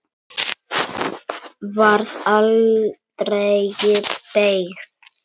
Varð aldregi beygð.